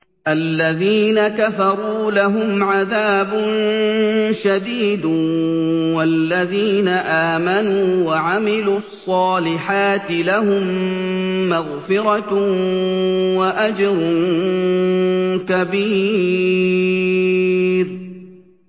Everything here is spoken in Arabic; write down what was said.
الَّذِينَ كَفَرُوا لَهُمْ عَذَابٌ شَدِيدٌ ۖ وَالَّذِينَ آمَنُوا وَعَمِلُوا الصَّالِحَاتِ لَهُم مَّغْفِرَةٌ وَأَجْرٌ كَبِيرٌ